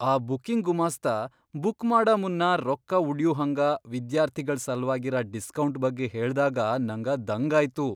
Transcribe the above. ಆ ಬುಕ್ಕಿಂಗ್ ಗುಮಾಸ್ತ ಬುಕ್ ಮಾಡ ಮುನ್ನ ರೊಕ್ಕ ಉಳ್ಯೂ ಹಂಗ ವಿದ್ಯಾರ್ಥಿಗಳ್ ಸಲ್ವಾಗಿರ ಡಿಸ್ಕೌಂಟ್ ಬಗ್ಗೆ ಹೇಳ್ದಾಗ ನಂಗ ದಂಗಾಯ್ತು.